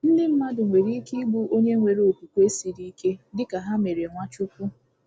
Ndị mmadụ nwere ike igbu onye nwere okwukwe siri ike, dị ka ha mere Nwachukwu.